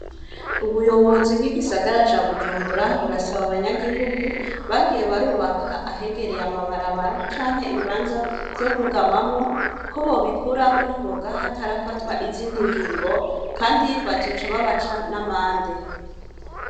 Ubuyobozi bw'igisagara ca bujumbura burasaba abanyagihugu bagiye barubaka ahegereye amabarabara canke ibibanza vyo kugamamwo ko bobikuraho n'ingoga hatarafatwa izindi ngingo, kandi bazoca babaca n'amande.